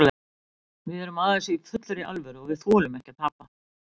Við erum að þessu í fullri alvöru og við þolum ekki að tapa.